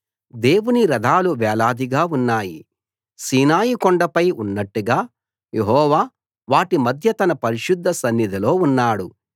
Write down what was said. దేవుని రథాలు వేలాదిగా ఉన్నాయి సీనాయి కొండపై ఉన్నట్టుగా యెహోవా వాటి మధ్య తన పరిశుద్ధ సన్నిధిలో ఉన్నాడు